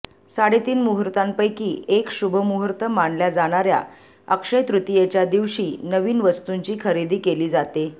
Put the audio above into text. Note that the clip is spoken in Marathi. साडेतीन मुहूर्तांपैकी एक शुभ मुहूर्त मानल्या जाणाऱ्या अक्षयतृतीयेच्या दिवशी नविन वस्तूंची खरेदी केली जाते